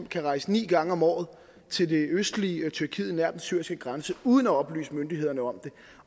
kan rejse ni gange om året til det østlige tyrkiet nær den syriske grænse uden at oplyse myndighederne om det